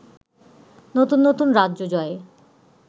নতুন নতুন রাজ্য জয়ে